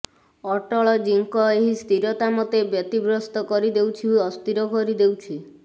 ଅଟଳ ଜୀଙ୍କ ଏହି ସ୍ଥିରତା ମୋତେ ବ୍ୟତିବ୍ୟସ୍ତ କରିଦେଉଛି ଅସ୍ଥିର କରିଦେଉଛି